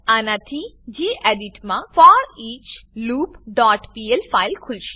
આનાથી ગેડિટ માં foreachloopપીએલ ફાઈલ ખુલશે